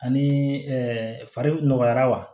Ani fari nɔgɔyara wa